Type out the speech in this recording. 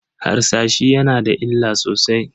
Harsashi yana da illa sosai.